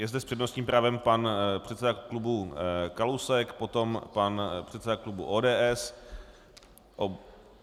Je zde s přednostním právem pan předseda klubu Kalousek, potom pan předseda klubu ODS.